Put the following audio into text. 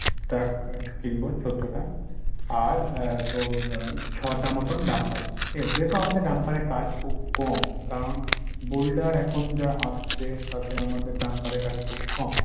truck কিনবো চোদ্দটা আর এর তোর আহ ছ’টার মতন dumper ঠিকাছ যেহেতু আমাদের dumper এর কাজ খুব কম কারণ boulder এখন যা আসছে তাতে আমাদের dumper এর কাজ খুব কম।